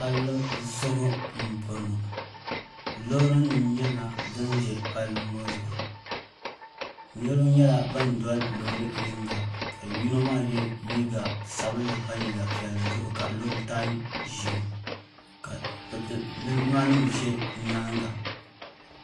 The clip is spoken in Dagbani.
pali zuɣigu n bɔŋɔ lorinim nyɛla din ʒɛ pali ŋɔ zuɣ' niriba nyɛla ban doli lori yinga ka yino maa yɛ liga sabinli pa liga piɛli zuɣ' ka di lu o tai ʒiɛ ka lijima nim ʒɛ nyɛŋa